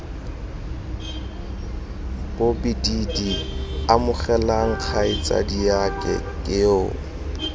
bobididi amogelang kgaitsadiake ke yoo